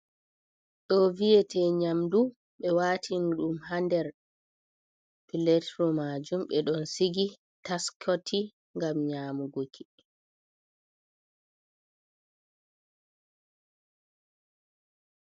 Ɗo viyete nyamdu ɓe watin ɗum hander platro majum ɗe ɗon sigi taskoti gam nyamugoki.